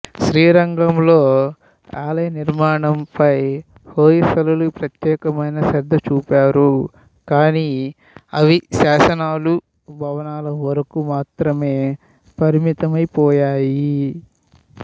శ్రీరంగంలో ఆలయ నిర్మాణంపై హోయసలులు ప్రత్యేకమైన శ్రద్ధ చూపారు కానీ అవి శాసనాలూ భవనాల వరకూ మాత్రమే పరిమితమైపోయాయి